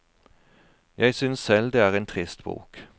Jeg synes selv det er en trist bok.